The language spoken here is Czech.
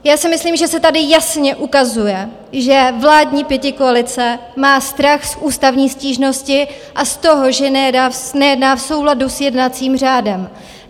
Já si myslím, že se tady jasně ukazuje, že vládní pětikoalice má strach z ústavní stížnosti a z toho, že nejedná v souladu s jednacím řádem.